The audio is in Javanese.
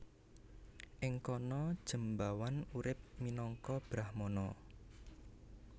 Ing kana Jembawan urip minangka brahmana